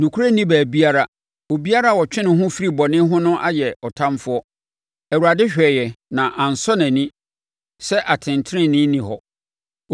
Nokorɛ nni baabiara, obiara a ɔtwe ne ho firi bɔne ho no ayɛ ɔtamfoɔ. Awurade hwɛeɛ na ansɔ nʼani sɛ atɛntenenee nni hɔ.